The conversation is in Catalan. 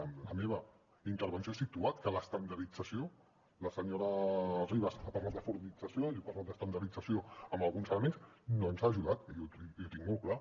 en la meva intervenció he situat que l’estandardització la senyora ribas ha parlat de fordització jo he parlat d’ estandardització en alguns elements doncs hi ha ajudat i ho tinc molt clar